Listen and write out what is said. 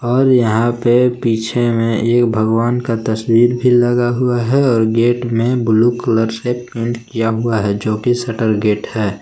और यहां पे पीछे में एक भगवान का तस्वीर भी लगा हुआ है और गेट में ब्लू कलर से पेंट किया हुआ है जो शटर गेट है।